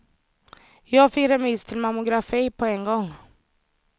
Jag fick remiss till mammografi på en gång.